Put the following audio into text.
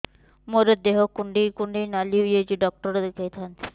ମୋର ଦେହ କୁଣ୍ଡେଇ କୁଣ୍ଡେଇ ନାଲି ହୋଇଯାଉଛି ଡକ୍ଟର ଦେଖାଇ ଥାଆନ୍ତି